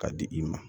K'a di i ma